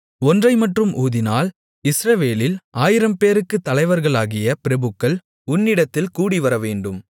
ஒன்றைமட்டும் ஊதினால் இஸ்ரவேலில் ஆயிரம்பேர்களுக்குத் தலைவர்களாகிய பிரபுக்கள் உன்னிடத்தில் கூடிவரவேண்டும்